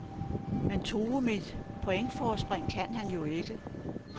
Men true mit pointforspring kunne han jo ikke.